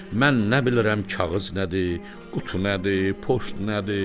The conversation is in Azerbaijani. mən nə bilirəm kağız nədir, qutu nədir, poçt nədir?